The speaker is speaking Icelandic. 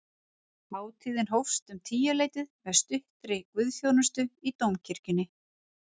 Hátíðin hófst um tíuleytið með stuttri guðsþjónustu í dómkirkjunni